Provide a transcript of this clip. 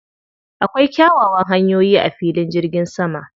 Akwai kyawawan hanyoyi a filin jirgin saman.